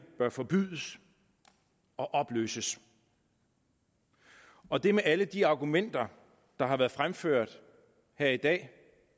bør forbydes og opløses og det er med alle de argumenter der har været fremført her i dag